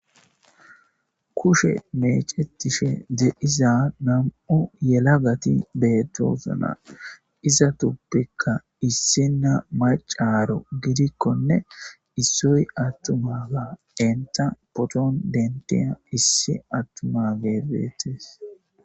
kushe mecetishe de7iza nam7o yela gati beetosna iza tuppekka issinna macaro gidikkonne issoy attumaga enta potoon dentiya issi attuma geebeetes